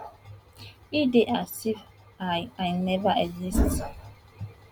e dey as if i i never exist